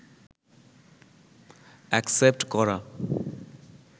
accept করা